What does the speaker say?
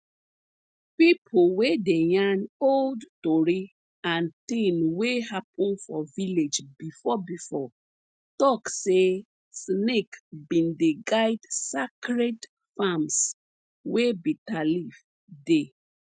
pipo wey dey yarn old tori and tin wey hapun for village before before talk say snake bin dey guide sacred farms wey bitterleaf dey